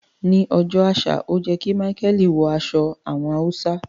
Ni ọjọ́ àṣà o yẹ ki Micheal wọ aṣọ àwọn Hausa.